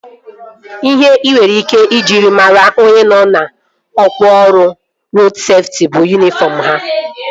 Ihe ị nwere ike iji mara onye nọ na ọkwá ọrụ rodu seftị bụ yunifọm ha